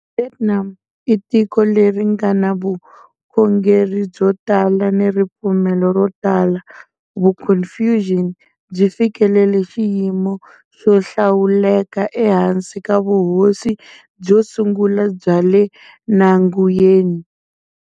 Vietnam i tiko leri nga ni vukhongeri byo tala ni ripfumelo ro tala. Vuconfucius byi fikelele xiyimo xo hlawuleka ehansi ka vuhosi byo sungula bya Le na Nguyen.